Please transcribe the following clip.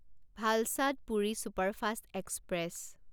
ভালচাদ পুৰি superfast express